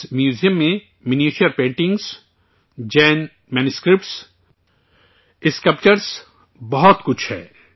اس museum میں miniature paintings, Jain manuscripts, sculpture بہت کچھ ہے